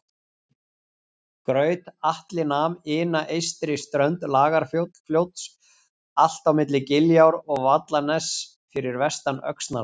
Graut-Atli nam ina eystri strönd Lagarfljóts allt á milli Giljár og Vallaness fyrir vestan Öxnalæk